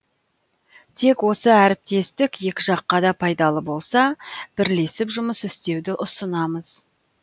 тек осы әріптестік екі жаққа да пайдалы болса бірлесіп жұмыс істеуді ұсынамыз